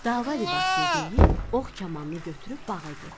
Dava libasını geyib, ox kamanını götürüb bağa getdi.